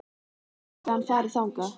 En gæti hann farið þangað?